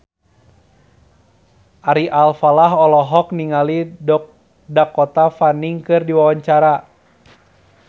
Ari Alfalah olohok ningali Dakota Fanning keur diwawancara